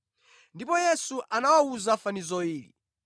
Ndipo Yesu anawawuza fanizo ili: